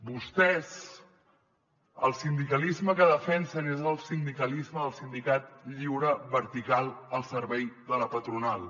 vostès el sindicalisme que defensen és el sindicalisme del sindicat lliure vertical al servei de la patronal